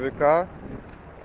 вк